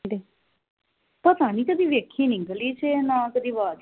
ਪਤਾ ਨਹੀਂ ਕਦੀ ਵੇਖੀ ਨੀ ਗਲੀ ਵਿਚ ਨਾ ਕਦੀ ਆਵਾਜ